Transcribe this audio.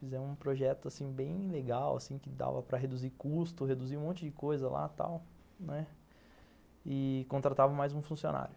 Fizemos um projeto, assim, bem legal, assim, que dava para reduzir custo, reduzir um monte de coisa lá, tal, né, e contratava mais um funcionário.